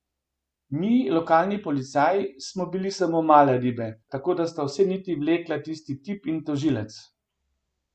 Mi, lokalni policaji, smo bili samo male ribe, tako da sta vse niti vlekla tisti tip in tožilec.